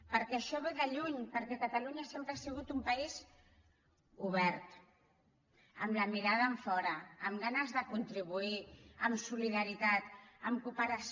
perquè això ve de lluny perquè catalunya sempre ha sigut un país obert amb la mirada enfora amb ganes de contribuir amb solidaritat amb cooperació